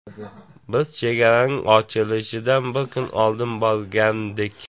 Biz chegaraning ochilishidan bir kun oldin borgandik.